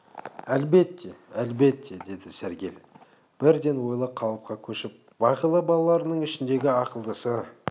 әлбетте әлбетте деді сәргел бірден ойлы қалыпқа көшіп бағила балаларыңның ішіндегі ақылдысы